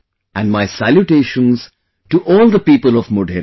And my salutations to all the people of Modhera